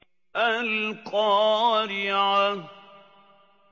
الْقَارِعَةُ